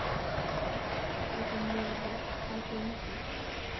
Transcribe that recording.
GETUR HANN EKKI ÞVÍ MIÐUR, HANN GLEYMDI